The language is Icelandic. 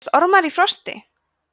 drepast ormar í frosti